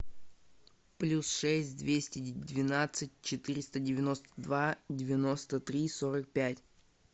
плюс шесть двести двенадцать четыреста девяносто два девяносто три сорок пять